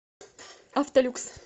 автолюкс